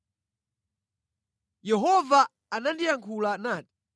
Yehova anandiyankhula nati: